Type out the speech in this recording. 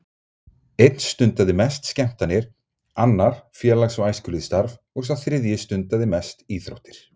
Einn stundaði mest skemmtanir, annar félags- og æskulýðsstarf og sá þriðji stundaði mest íþróttir.